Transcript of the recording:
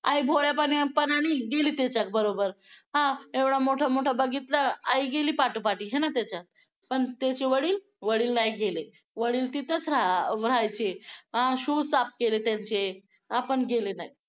आई भोळ्यापणाने गेली त्याच्यात बरोबर हां एवढा मोठा मोठा बघितलं आई गेली पाठोपाठ आहे ना त्याच्या पण त्याचे वडील वडील नाही गेले वडील तिथंच राहायचे अं shoe साफ केले त्यांचे, आपण गेले नाहीत.